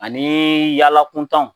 Ani yaala kuntan.